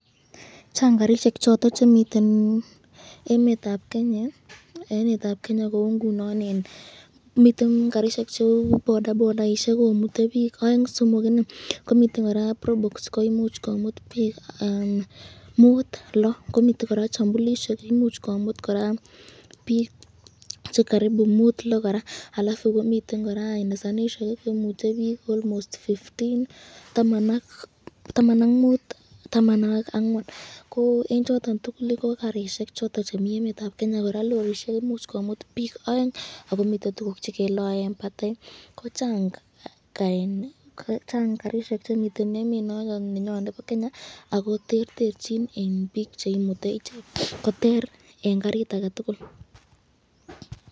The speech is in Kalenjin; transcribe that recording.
Chang karishek choton chemiten emetab Kenya, kou ngunon, miten karishek cheu bodabodaishek komute bik aeng ,somok, miten koraa brobox imuch kout bik 5 ,6 miten koraa chambulisyek imuch komut koraa bik 5,6 koraa alafu miten koraa nisanisyek imute bik [cd]almost[cd] 15 , 14 eng choton tukul ko karishek chemiten emetab Kenya, koraa lorishek koimuch komut bik 2 akomiten tukuk chekeloe eng batei, Chang karishek chemiten emetab Kenya ako terterchik bik cheimutu.